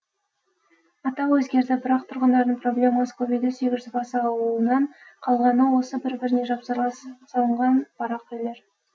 атау өзгерді бірақ тұрғындардың проблемасы көбейді сегіз жүз бас ауылынан қалғаны осы бір біріне жапсарлас салынған барақ үйлер